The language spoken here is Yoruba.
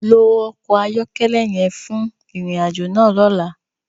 Lo ọkọ ayọkẹlẹ yẹn fun irin-ajo náa lọla!